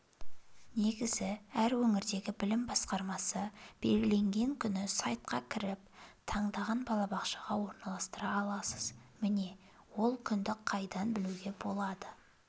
негізі әр өңірдегі білім басқармасы белгілеген күні сайтқа кіріп таңдаған балабақшаға орналастыра аласыз міне ол күнді қайдан білуге болады